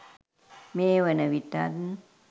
මේ වන විටත්